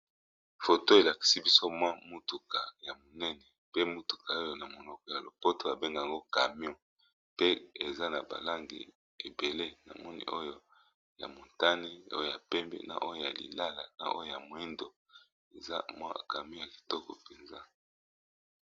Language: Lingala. Foto elakisi biso mwa motuka ya monene pe motuka oyo na monoko ya lopoto babengango camio te eza na ba langi ebele na moni oyo ya motani oyo ya pembe na oyo ya lilala na oyo ya moindo eza mwa camion ya kitoko mpenza.